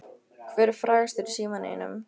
Hver er frægastur í símanum þínum?